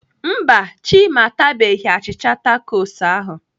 Mba, Chima atabeghị achịcha takos.